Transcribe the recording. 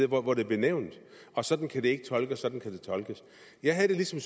hvor det blev nævnt at sådan kan det ikke tolkes sådan kan det tolkes jeg havde det ligesom